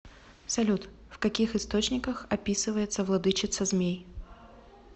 салют в каких источниках описывается владычица змей